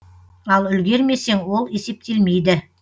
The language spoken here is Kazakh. ал үлгермесең ол есептелмейді